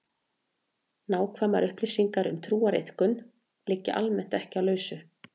Nákvæmar upplýsingar um trúariðkun liggja almennt ekki á lausu.